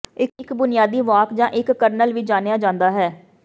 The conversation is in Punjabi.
ਇੱਕ ਬੁਨਿਆਦੀ ਵਾਕ ਜਾਂ ਇੱਕ ਕਰਨਲ ਵੀ ਜਾਣਿਆ ਜਾਂਦਾ ਹੈ